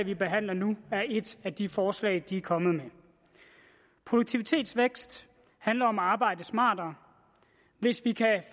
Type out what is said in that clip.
vi behandler nu er et af de forslag de er kommet med produktivitetsvækst handler om at arbejde smartere hvis vi kan